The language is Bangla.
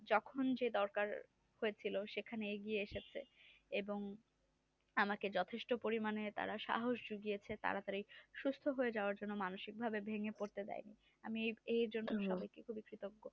যখন যে দরকার সেখানে গিয়ে এসছে এবং আমাকে যথেষ্ট পরিমানে তারা সাহস দিয়েছে তারা সুস্থ হওয়া যাওয়ার জন্য। মানসিকভাবে ভেঙে পড়া করতে দেয়নি আমি এজন্য কৃতজ্ঞ।